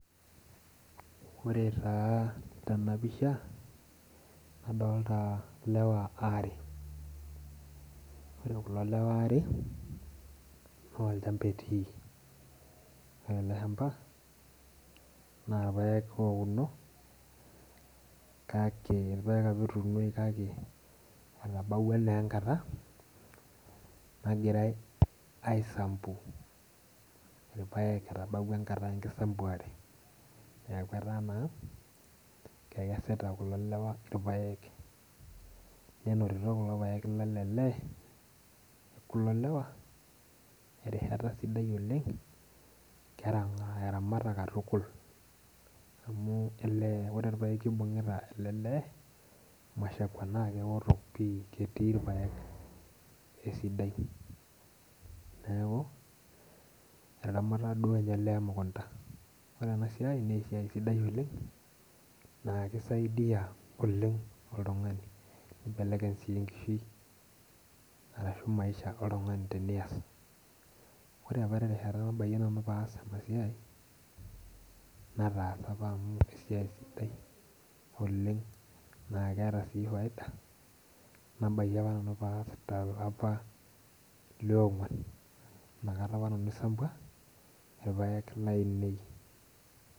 Ore taa tena pisha adolita ilewa aare ore kulo lewa aare naa olchmaba etii ore ele shamba naa irpek apa etuunoki kake etabaua naa enkata nagiraai aisambu irpaek etabaua naa enkata enkisambuare ekesita kulo lewea irpaek netupukutuo kulo paek lele lee ore ena naa erishata sidai oleng' amu ore naa orpaeki oipung'ita ilo lee naa keoto pii ketii irpaek esidaai etaramata duoo ninye olee emukunta ore siai naa esiai sidaai oleng' naa kisaidia oleng' oltung'ani.